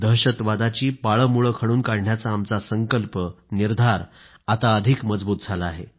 दहशतवादाची पाळंमुळं खणून काढण्याचा आमचा संकल्प निर्धार आता अधिक मजबूत होईल